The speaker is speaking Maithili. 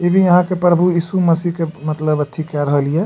ई भी यहाँ के प्रभु इशू मशीह के मतलब अथी कर रहलिए।